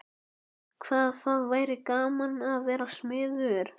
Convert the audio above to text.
Hvað það væri gaman að vera smiður.